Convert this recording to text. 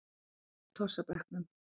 Tossinn í tossabekknum.